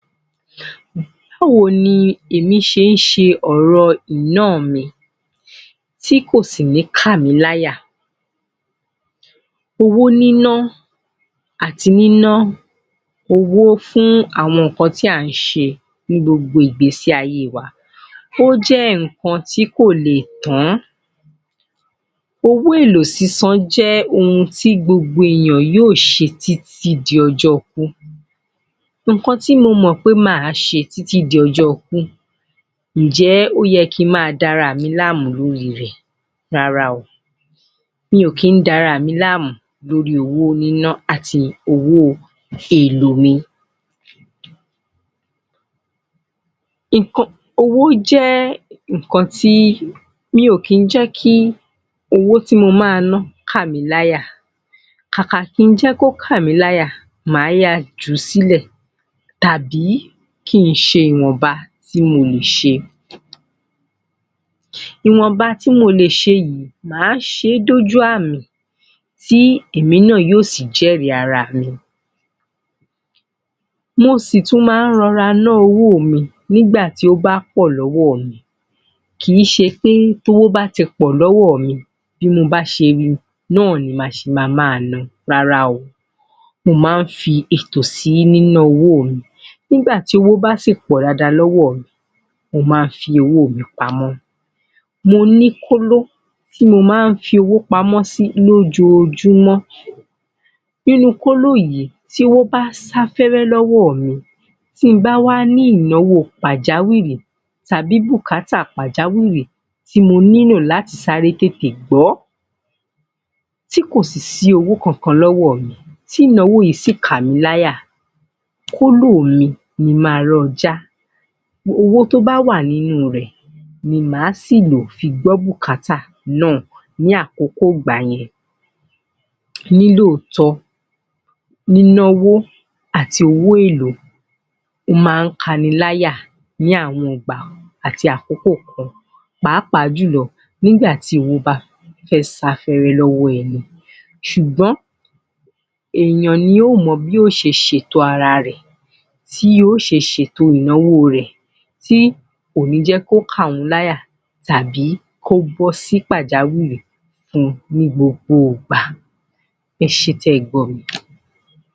Báwo ni èmi ṣe ń ṣe ọ̀rọ̀ ìná-àn mi tí kò sì ní kàmí láyà. Owó níná àti níná owó fún àwon nǹkan tí à ń ṣe nị́ gbogbo ìgbésí ayé wa, ó jẹ́ nǹkan tí kò lè tán. Owó èlò sísan jẹ́ ohun tí gbogbo ènìyàn yóò ṣe títí di ọjọ́ ikú. Nǹkan tí mo mọ̀ pé màá ṣe títí di ọjọ́ ikú, ǹ jé ó yẹ kí n máa dara à mi láàmú lórí rẹ̀, rárá o, mi ò kín dara à mi láàmú lórí owó níná àti owó èlò mi. Owó jẹ́ nǹkan tí, mi ò kín jẹ́ kí owó tí mo máa ná kàmí láyà, kàkà kí n jẹ́ kí ó kàmí láyà, màá yáa jù ú sílẹ̀ tàbí kí n ṣe ìwọ̀nba tí mo lè ṣe. Ìwọ̀nba tí mo lè ṣe yị̀í, màá ṣe é dójú àmì tí èmi náà yóò sì jẹ́rìí ara mi. Mo sì tún má ń rọra nạ́ owó mi nígbà tí ó bá pọ̀ lọ́wọ́ mi. Kìí ṣe pé tí owó bá ti pọ̀ lọ́wọ́ mi bí mo bá ṣe ri náà ni màá ṣe ma máa na, rárá o. Mo má ń fi ètò sí níná owó mi. Nígbà tí owó bá sì pò dáadáa lọ́wọ́ mi, mo má ń fi owó mi pamọ́. Mo ní kóló tí mo má ń fi owó pamọ́ sị́ lójoojúmọ́. Inụ́ kóló yìí, tí owó bá sá fẹ́rẹ́ lọ́wọ́ mi tí n bá wá ní ìnáwó pàjáwìrì tàbí bùkátà pàjáwìrì tí mo nílò láti sáré tètè gbó ti kò sì sí owó kankan lọ́wọ́ mi, tí ìnáwó yìí sì kàmí láyà, kóló mi ni mo ma lọ jạ́. Owó tí ó bá wà nínú rẹ̀ ni màá sì lò fi gbọ́ bùkátà náà ní àkókò ìgbà yẹn. Ní lóòótọ́, níná owó àti owó èlò ó ma ń kani layà ní àwọn ìgbà àti àkókò kan pàápàá jùlọ nígbà tí owó bá fẹ́ sá fẹ́rẹ́ lọ́wọ́ ẹni. Ṣùgbọ́n eèyàn ni yóò mọ bí ó ṣe ṣe ètò ara rẹ̀, tí yóò ṣe ṣe ètò ìnáwó rẹ̀ tí kò ní jẹ́ kí ó ka òun láyà tàbí kí ó bọ́ sí pàjáwìrì fun ní gbogbo ìgbà, ẹ ṣé tẹ́ ẹ gbọ́ mi.